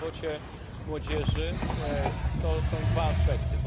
Bezrobocie młodzieży to są dwa aspekty.